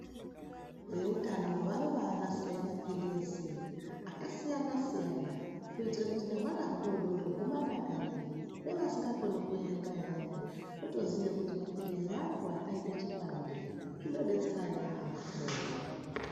Veutano vanobanasire mapilizi akasiyana siyana kuitira kuti nehwana hudoodori humadakarirewo nevasingakoni kuerenga vayani votoziye kuti mapilizi angu akaite chibande zvinodetsera yampho.